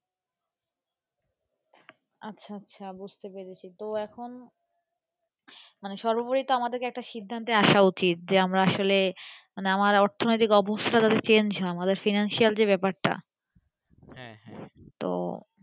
আচ্ছা আচ্ছা বুজতে পেরেছি তো এখন আমাদের একটা সির্ধান্তে আশা একটা আশা উচিত যা আমরা আসলে আমার অর্থনৈতিক অবস্থা যদি Chang হয় আমাদের Financial যে ব্যাপার টা হ্যাঁ হ্যাঁ তো।